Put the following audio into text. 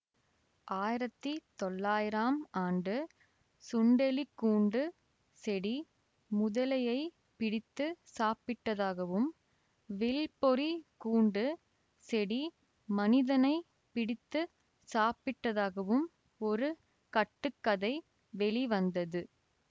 ஆயிரத்தி தொள்ளாயிரம் ஆண்டு சுண்டெலிக்கூண்டு செடி முதலையைப் பிடித்து சாப்பிட்டதாகவும் வில்பொறிக் கூண்டு செடி மனிதனை பிடித்து சாப்பிட்டதாகவும் ஒரு கட்டு கதை வெளி வந்தது